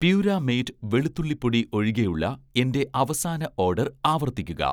പ്യൂരാമേറ്റ് വെളുത്തുള്ളി പൊടി ഒഴികെയുള്ള എന്‍റെ അവസാന ഓഡർ ആവർത്തിക്കുക